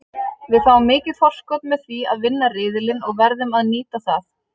Við fáum mikið forskot með því að vinna riðilinn og verðum að nýta það.